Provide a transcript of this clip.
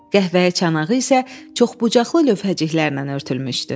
Qəhvəyi çanağı isə çoxbucaqlı lövhəciklərlə örtülmüşdü.